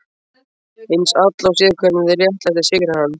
Hins Illa og séð hvernig réttlætið sigrar hann.